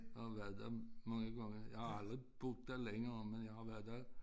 Jeg har været der mange gange jeg har aldrig boet der længere men jeg har været der